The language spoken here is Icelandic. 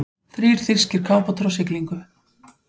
Þrír þýskir kafbátar á siglingu.